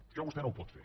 això vostè no ho pot fer